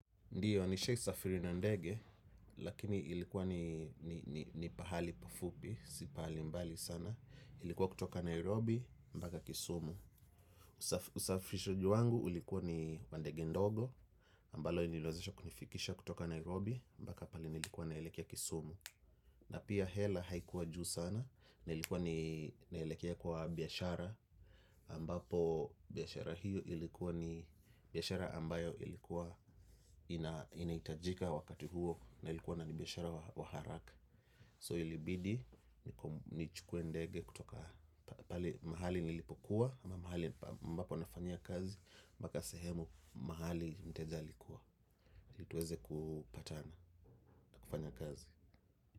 Ndiyo, nishai safiri na ndege, lakini ilikuwa ni pahali pafupi, si pahali mbali sana. Ilikuwa kutoka Nairobi, mbaka kisumu. Usafirishaji wangu ulikuwa ni wa ndege ndogo, ambalo nililowezesha kunifikisha kutoka Nairobi, mpaka pale nilikuwa naelekea kisumu. Na pia hela haikuwa juu sana na ilikuwa ninaelekea kwa biashara ambapo biashara hiyo ilikuwa ni biashara ambayo ilikuwa inahitajika wakati huo na ilikuwa na ni biashara wa haraka. So ilibidi nichukue ndege kutoka pale mahali nilipokuwa ama mahali ambapo nafanya kazi mpaka sehemu mahali mteja alikuwa. Ili tuweze kupatana na kufanya kazi.